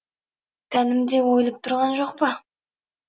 тәнім де ойылып тұрған жоқ па